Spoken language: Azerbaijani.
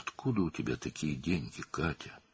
Bu qədər pulun haradandır, Katya?